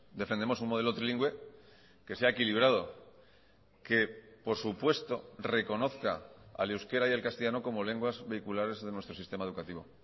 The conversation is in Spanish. defendemos un modelo trilingüe que sea equilibrado que por supuesto reconozca al euskera y al castellano como lenguas vehiculares de nuestro sistema educativo